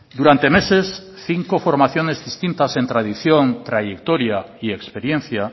durante meses cinco formaciones distintas en tradición trayectoria y experiencia